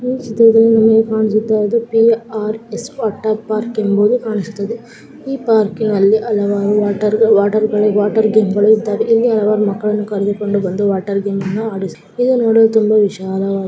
ಈ ಚಿತ್ರದಲ್ಲಿ ನಮಗೆ ಕಾಣಿಸುತ್ತಿರುವುದು P R S water park ಎಂಬುದು ಕಾಣಿಸುತ್ತದೆ. ಈ ಪಾರ್ಕ್ ನಲ್ಲಿ ಹಲವಾರು ವಾಟರ್ ವಾಟರ್ ಗೇಮ್ ಗಳು ಇದಾವೆ ಇಲ್ಲಿ ಅವರ ಮಕ್ಕಳಿಗೆ ಕರೆದುಕೊಂಡು ವಾಟರ್ ಗೇಮ್ ಗಳನ್ನ ಆಡಿಸುತ್ತಾರೆ.